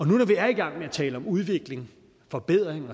nu når vi er i gang med at tale om udvikling forbedring